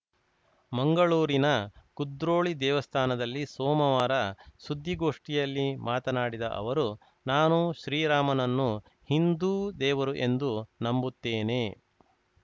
ಮಂಗಳೂರಿನ ಕುದ್ರೋಳಿ ದೇವಸ್ಥಾನದಲ್ಲಿ ಸೋಮವಾರ ಸುದ್ದಿಗೋಷ್ಠಿಯಲ್ಲಿ ಮಾತನಾಡಿದ ಅವರು ನಾನು ಶ್ರೀರಾಮನನ್ನು ಹಿಂದೂ ದೇವರು ಎಂದು ನಂಬುತ್ತೇನೆ